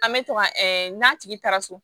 An bɛ to ka n'a tigi taara so